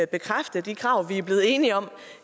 bekræfte de krav vi blevet enige om